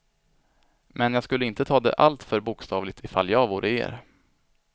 Men jag skulle inte ta det alltför bokstavligt i fall jag vore er.